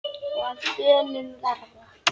og að bönum verða